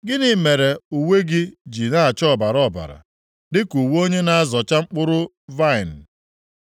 Gịnị mere uwe gị ji na-acha ọbara ọbara, dịka uwe onye na-azọcha mkpụrụ vaịnị?